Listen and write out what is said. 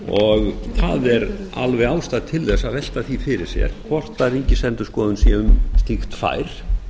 og það er alveg ástæða til þess að velta því fyrir sér hvort ríkisendurskoðun sé um slíkt fær